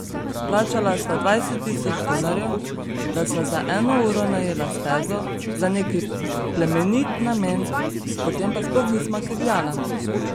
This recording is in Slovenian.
Plačala sva dvajset tisoč dolarjev, da sva za eno uro najela stezo za neki plemenit namen, potem pa sploh nisva kegljala.